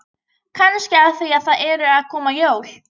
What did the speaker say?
Kannski af því að það eru að koma jól.